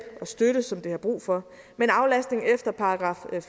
og støtte som det har brug for men aflastning efter §